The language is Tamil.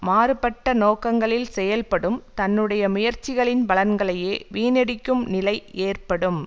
மாறுபட்ட நோக்கங்களில் செயல்படும் தன்னுடைய முயற்சிகளின் பலன்களையே வீணடிக்கும் நிலை ஏற்படும்